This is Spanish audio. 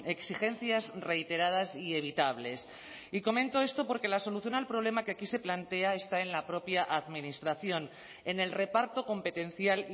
exigencias reiteradas y evitables y comento esto porque la solución al problema que aquí se plantea está en la propia administración en el reparto competencial